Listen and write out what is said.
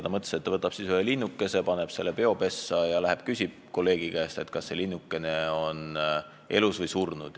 Ta mõtles, et ta võtab ühe linnukese, paneb selle peopessa ja läheb küsib teise targa käest, kas linnukene tema peos on elus või surnud.